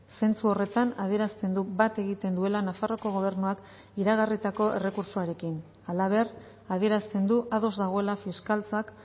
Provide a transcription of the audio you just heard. zentzu horretan adierazten du bat egiten duela nafarroako gobernuak iragarritako errekurtsoarekin halaber adierazten du ados dagoela fiskaltzak